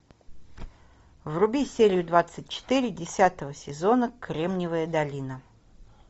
вруби серию двадцать четыре десятого сезона кремниевая долина